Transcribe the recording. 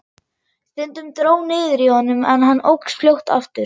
Stundum dró niður í honum en hann óx fljótt aftur.